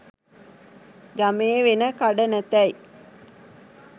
ගමේ වෙන කඩ නැතැයි